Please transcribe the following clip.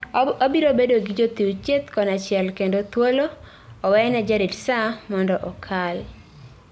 Wabiro bedo gi jochiw thieth konychiel kendo thuolo owene jarit saa mondo okal